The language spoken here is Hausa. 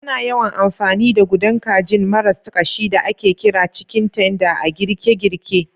Ana yawan amfani da gudan kajin marasa ƙashi da ake kira "cikin tender" a girke-girke.